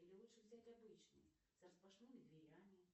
или лучше взять обычный с распашными дверями